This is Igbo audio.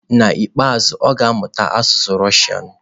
N'ikpeazụ, ọ ga-amụ asụsụ Russian.